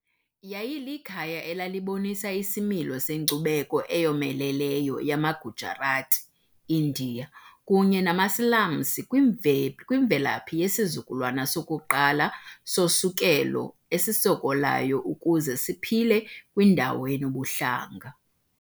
Yayilikhaya elalibonisa isimilo senkcubeko eyomeleleyo yamaGujarati-Indiya kunye namaSilamsi kwimvelaphi yesizukulwana sokuqala sosukelo esisokolayo ukuze siphile kwindawo enobuhlanga.